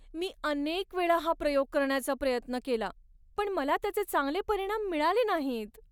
मी अनेक वेळा हा प्रयोग करण्याचा प्रयत्न केला पण मला त्याचे चांगले परिणाम मिळाले नाहीत.